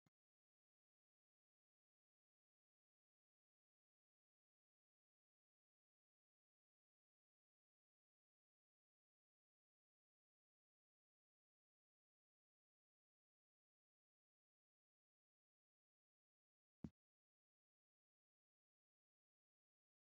Kuri leeltannori kalaqamunni afi'neemmo muro daddalanni base ikkitana kuri kalaqamunni afi'neemmo murono, muuze burutukane, mango pappayu w.k.l ikkanna kaawanni booso diste worrinot leeltanno.